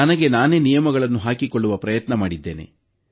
ನಾನು ನನಗೇ ನಿಯಮಗಳನ್ನು ಹಾಕಿಕೊಳ್ಳುವ ಪ್ರಯತ್ನ ಮಾಡಿದ್ದೇನೆ